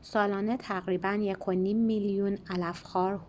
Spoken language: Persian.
سالانه تقریباً ۱.۵ میلیون علف‌خوار